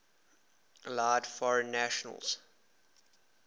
allowed foreign nations